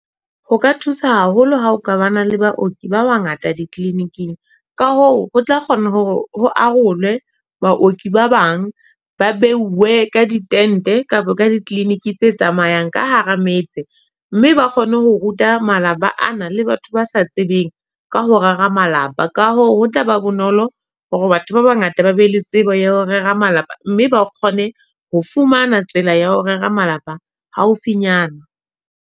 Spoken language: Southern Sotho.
Ho ka thusa haholo ha o ka ba na le baoki ba wa ngata di-clinic-ing. Ka hoo ho tla kgona hore ho arolwe baoki ba bang, ba beuwe ka di-tent-e kapa ka di clinic tse tsamayang, ka hara metse. Mme ba kgone ho ruta malapa ana le batho ba sa tsebeng, ka ho rera malapa. Ka hoo ho tlaba bonolo hore batho ba bangata ba be le tsebo yeo rera malapa. Mme ba kgone ho fumana tsela ya ho rera malapa, haufinyana.